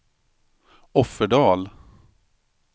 Offerdal